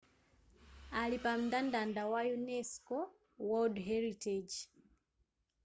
ali pa mndandanda wa unesco world heritage